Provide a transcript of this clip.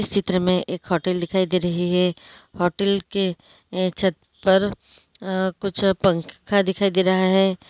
इस चित्र में एक होटल दिखाई दे रही हैं होटल के ये छत पर अ-अ कुछ पंखा दिखाई दे रहा हैं।